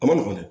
A ma nɔgɔn dɛ